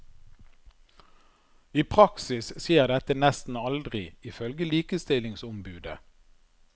I praksis skjer dette nesten aldri, ifølge likestillingsombudet.